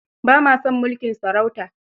Ba ma son mulkin sarauta.